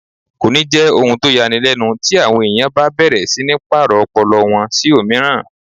Kò ní jẹ́ ohun tó ya ni lẹ́nu ti àwọn èèyàn bá bẹ̀rẹ̀ sí ní pàrọ̀ ọpọlọ wọn sí òmíràn